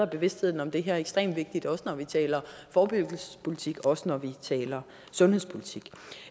bevidstheden om det her ekstremt vigtigt også når vi taler forebyggelsespolitik også når vi taler sundhedspolitik